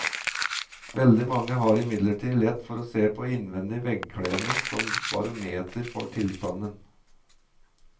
Veldig mange har imidlertid lett for å se på innvendig veggkledning som barometer for tilstanden.